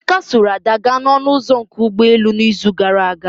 Emeka sooro Ada gaa na ọnụ ụzọ nke ụgbọ elu na izu gara aga